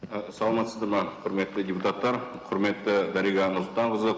ы саламатсыздар ма құрметті депутаттар құрметті дариға нұрсұлтанқызы